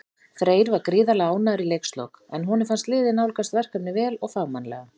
Freyr var gríðarlega ánægður í leikslok, en honum fannst liðið nálgast verkefnið vel og fagmannlega.